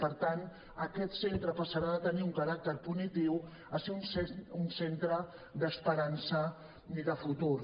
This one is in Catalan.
per tant aquest centre passarà de tenir un caràcter punitiu a ser un centre d’esperança i de futur